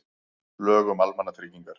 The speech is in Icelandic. Lög um almannatryggingar.